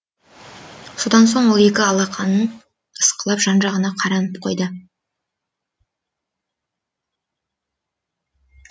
содан соң ол екі алақанын ысқылап жан жағына қаранып қойды